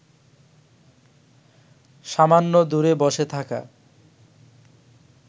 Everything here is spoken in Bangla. সামান্য দূরে বসে থাকা